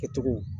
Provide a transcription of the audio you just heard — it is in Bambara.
Kɛcogo